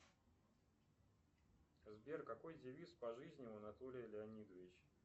сбер какой девиз по жизни у анатолия леонидовича